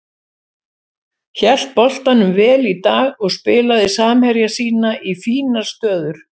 Hélt boltanum vel í dag og spilaði samherja sína í fínar stöður.